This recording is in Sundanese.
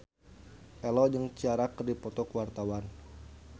Ello jeung Ciara keur dipoto ku wartawan